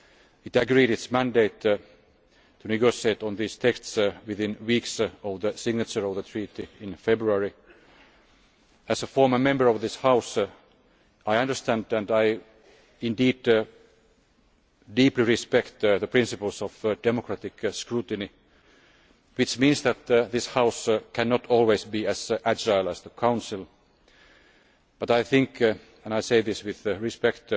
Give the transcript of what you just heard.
It agreed its mandate to negotiate on these texts within weeks of the signature of the treaty in February. As a former Member of this House, I understand and deeply respect the principles of democratic scrutiny, which means that this House cannot always be as agile as the Council. But I think and I say this with